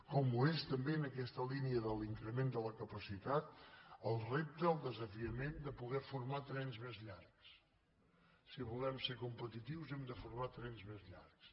com ho és en aquesta línia de l’increment de la capacitat el repte el desafiament de poder formar trens més llargs si volem ser competitius hem de formar trens més llargs